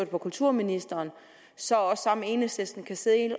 på kulturministeren så også sammen med enhedslisten kan sidde